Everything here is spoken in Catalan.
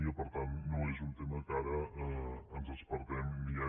i que per tant no és un tema que ara ens despertem ni que